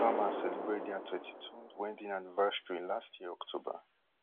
di obamas celebrate dia thirty-twond wedding anniversary last year october